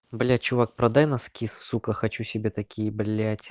блядь чувак продай носки сука хочу себе такие блядь